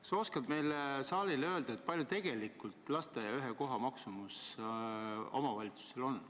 Kas sa oskad saalile öelda, kui suur tegelikult ühe lasteaiakoha maksumus omavalitsusele on?